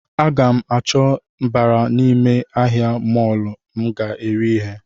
A gam chọta mbara n’ime ahịa molọ m ga ere ihe